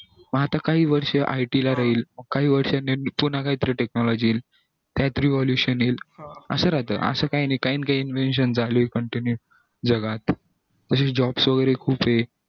म आता काही वर्ष ला it राहील काही वर्षांनी पुन्हा काही तरी technology येईल काही तरी evolution येईल असं राहत असं काही ना काही invention चालू आहे जगात अशी jobs वैगेरे खूप येत